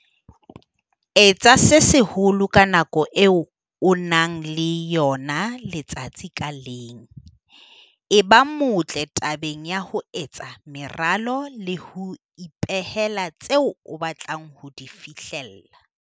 Etsa se seholo ka nako eo o nang le yona letsatsi ka leng. Eba motle tabeng ya ho etsa meralo le ho ipehela tseo o batlang ho di fihlella.